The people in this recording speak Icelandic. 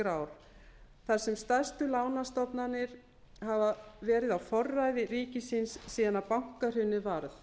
stjórnarskrár þar sem stærstu lánastofnanir hafa verið á forræði ríkisins síðan bankahrunið varð